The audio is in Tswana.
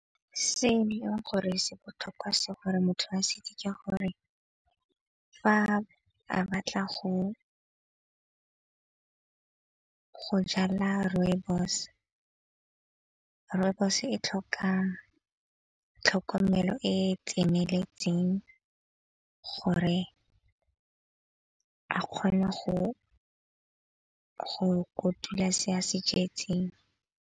Se e leng gore se botlhokwa se gore motho a se itse ka gore, fa a batla go jala rooibos. Rooibos e tlhoka tlhokomelo e e tseneletseng gore a kgone go kotula se a se jetseng.